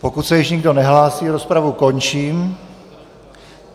Pokud se již nikdo nehlásí, rozpravu končím.